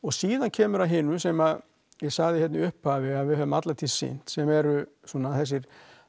síðan kemur að hinu sem ég sagði hérna í upphafi að við höfum alla tíð sinnt sem eru þessir